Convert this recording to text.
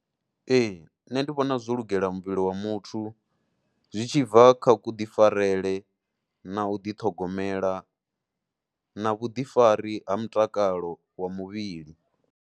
Ee nṋe ndi vhona zwo lugela muvhili wa muthu zwi tshi bva kha kuḓifarele na u ḓi ṱhogomela na vhuḓifari ha mutakalo wa muvhili.